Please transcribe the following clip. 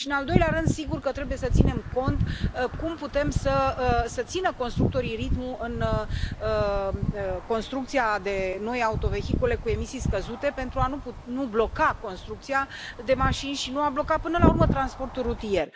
Și, în al doilea rând, sigur că trebuie să ținem cont de cum pot să țină constructorii ritmul în construcția de noi autovehicule cu emisii scăzute pentru a nu bloca construcția de mașini și a nu bloca, până la urmă, transportul rutier.